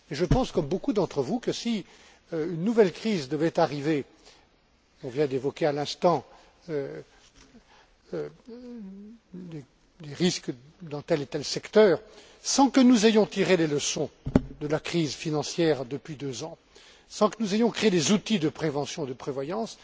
Je pense, comme beaucoup d'entre vous, que si une nouvelle crise devait arriver on vient d'évoquer à l'instant les risques dans tel et tel secteur sans que nous ayons tiré les leçons de la crise financière, depuis deux ans, sans que nous ayons créé des outils de prévention et de prévoyance,